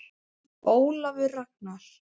Ólafur Ragnar.